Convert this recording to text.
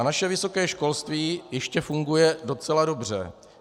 A naše vysoké školství ještě funguje docela dobře.